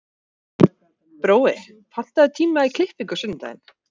Brói, pantaðu tíma í klippingu á sunnudaginn.